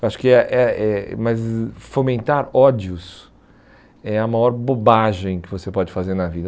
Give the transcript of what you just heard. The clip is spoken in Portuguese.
Acho que é é é mas fomentar ódios é a maior bobagem que você pode fazer na vida.